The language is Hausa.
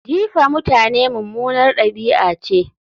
Jifa mutane mummunar ɗabi'a ce